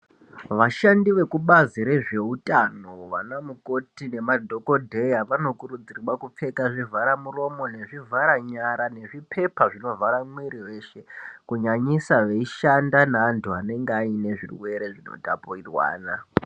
Vashandi vekubazi rezveutano vamamukoti nemadhokodheya vanokurudzirwa kupfeka zvivharamuromo nezvivharanyara nezvipepa zvinovhara mwiri weshe, kunyanyisa veishanda naantu anenge aine zvirwere zvinotapurirwana.